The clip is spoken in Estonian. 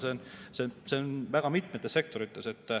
Ja see on väga mitmetes sektorites nii.